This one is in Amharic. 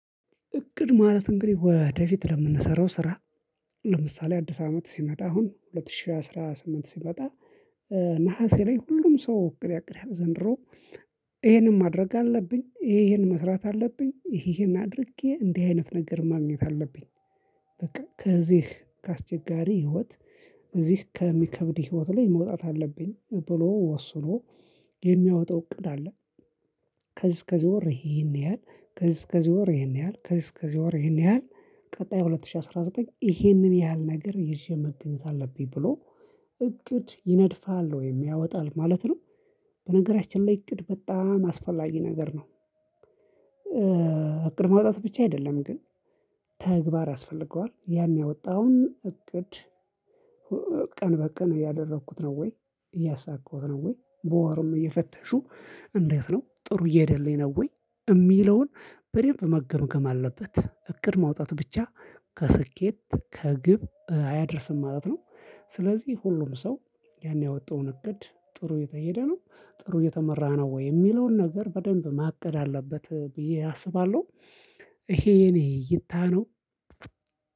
እቅድ ማለት እንግዲህ ወደፊት ለምንሰራው ስራ ለምሳሌ አዲስ አመት ሲመጣ አሁን ሁለት ሺህ አስራ ስምንት ሲመጣ ነሀሴ ላይ ሁሉም ሰው እቅድ ያቅዳል ዘንድሮ ይሄንን ማድረግ አለብኝ ይሄ ይሄን መስራት አለብኝ ይሄ ይሄን አድርጌ እንዲህ አይነት ነገር ማግኘት አለብኝ። በቃ ከዚህ ከአስቸጋሪ ህይወት እዚህ ከሚከብድ ህይወት ላይ መውጣት አለብኝ ብሎ ወስኖ የሚያወጣው እቅድ አለ። ከዚህ እስከዚህ ወር ይሄን ያህል ከዚህ እስከዚህ ወር ይሄን ያህል ከዚህ እስከዚህ ወር ይሄን ያህል ቀጣይ ሁለት ሺህ አስራ ዘጠኝ ይሄንን ያህል ነገር ይዤ መገኘት አለብኝ ብሎ እቅድ ይነድፋል ወይም ያወጣል ማለት ነው። በነገራችን ላይ እቅድ በጣም አስፈላጊ ነገር ነው። እቅድ ማውጣት ብቻ አይደለም ግን ተግባር ያስፈልገዋል ያን ያወጣውን እቅድ ቀን በቀን እያደረኩት ነው ወይ እያሳካሁት ነው ወይ በወርም እየፈተሹ እንዴት ነው ጥሩ እየሄደልኝ ነው ወይ የሚለውን በሬም በመገምገም አለበት እቅድ ማውጣት ብቻ ከስኬት ከግብ አያደርስም ማለት ነው። ስለዚህ ሁሉም ሰው ያን ያወጣውን እቅድ ጥሩ የተሄደ ነው ጥሩ የተመራ ነው ወይ የሚለውን ነገር በደንብ ማቀድ አለበት ብዬ አስባለሁ ይሄ እኔ እይታ ነው።